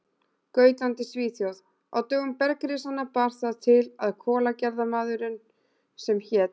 Gautlandi í Svíþjóð: Á dögum bergrisanna bar það til að kolagerðarmaður sem hét